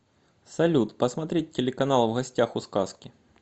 салют посмотреть телеканал в гостях у сказки